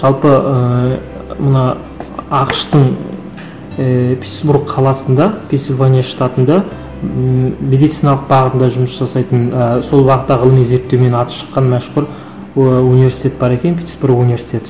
жалпы ыыы мына ақш тың ііі питтсбург қаласында пенсильвания штатында ммм медициналық бағытында жұмыс жасайтын ііі сол бағыттағы зерртеумен аты шыққан мәшһүр ы университет бар екен питтсбург университеті